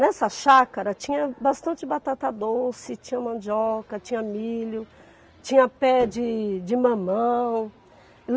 Nessa chácara tinha bastante batata doce, tinha mandioca, tinha milho, tinha pé de de mamão.